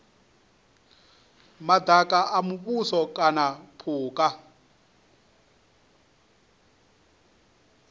madaka a muvhuso kana phukha